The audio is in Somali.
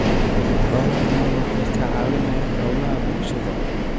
Xoolaha nool waxay ka caawiyaan hawlaha bulshada.